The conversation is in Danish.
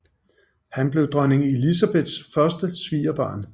Han blev dronning Elizabeths første svigerbarn